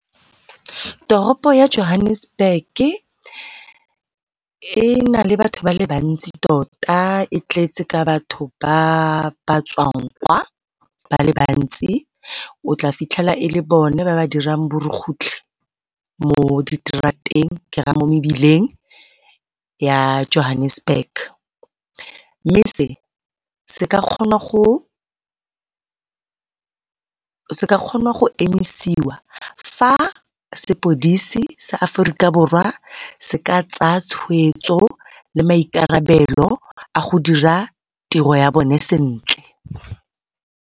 Toropo ya Johannesburg-ke e nale batho ba le bantsi tota, e tletse ka batho ba ba tswang kwa ba le bantsi. O tla fitlhela e le bone ba dirang borukutlhi mo ke raya mo mebileng ya Johannesburg. Mme se se ka kgonwa go emisiwa fa sepodisi sa Aforika Borwa se ka tsaya tshweetso le maikarabelo a go dira tiro ya bone sentle.